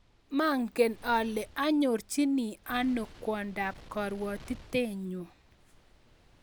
Mangen ale anyorchini ano kwondap karwatitennyu